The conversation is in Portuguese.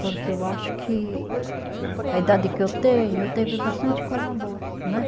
Porque eu acho que a idade que eu tenho, eu tive bastante coisa boa, né?